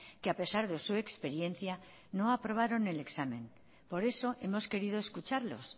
que a pesar de su experiencia no aprobaron el examen por eso hemos querido escucharlos